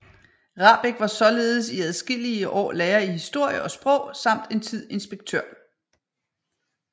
Rahbek var således i adskillige år lærer i historie og sprog samt en tid inspektør